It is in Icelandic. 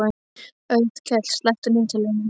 Otkell, slökktu á niðurteljaranum.